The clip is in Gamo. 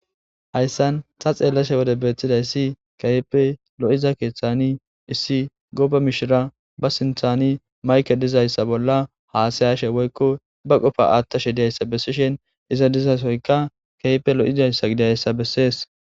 Hayssan ta xeellashe wode beettidayssi keehipppe lo'iza keeththani issi gooba mishira ba sinthani mayke dizayssa bolla haasayashe woykko ba qofa aattashe diyayssa bessishin iza dizasoyka keehippe lo'izayssa gidiyayssa bessees.